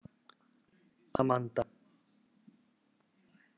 Amanda